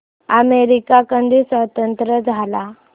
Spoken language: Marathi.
अमेरिका कधी स्वतंत्र झाला